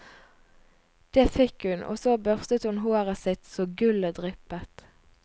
Det fikk hun, og så børstet hun håret sitt så gullet dryppet.